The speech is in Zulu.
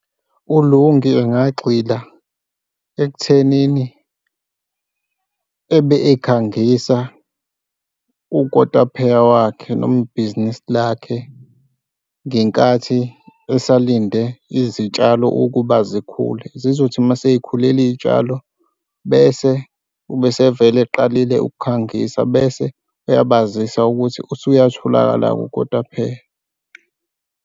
ULungi angagxila ekuthenini ebe ekhangisa ukotapheya wakhe noma ibhizinisi lakhe, ngenkathi esalinde izitshalo ukuba zikhule zizothi uma sey'khulile iy'tshalo bese ube esevele eqalile ukukhangisa, bese uyabazisa ukuthi usuyatholakala-ke ukotapheya.